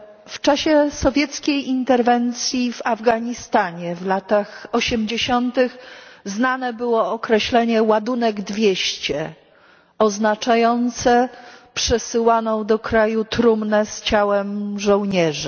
W czasie sowieckiej interwencji w Afganistanie w latach osiemdziesiątych znane było określenie ładunek 200, oznaczające przesyłaną do kraju trumnę z ciałem żołnierza.